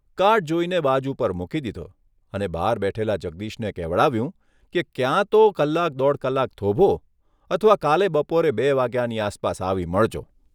Card જોઇને બાજુ પર મૂકી દીધો અને બહાર બેઠેલા જગદીશને કહેવાડાવ્યું કે ક્યાં તો કલાક દોઢ કલાક થોભો અથવા કાલે બપોરે બે વાગ્યાની આસપાસ આવી મળજો.